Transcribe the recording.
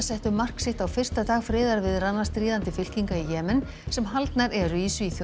settu mark sitt á fyrsta dag friðarviðræðna stríðandi fylkinga í Jemen sem haldnar eru í Svíþjóð